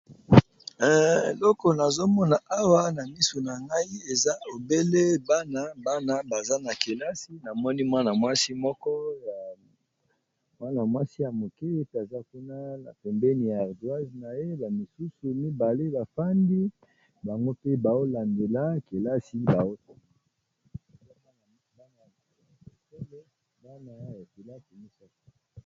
Eloko nazomona awa na misu na nai eza lobele bana bana baza na kelasi namoni anamwasi moko y mwana mwasi ya moke ete aza kuna na pembeni ya erdwise na ye a misusu mibale bafandi bango mpe baolandela kelasi banay ekela kemisak.